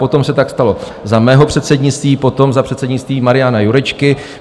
Potom se tak stalo za mého předsednictví, potom za předsednictví Mariana Jurečky.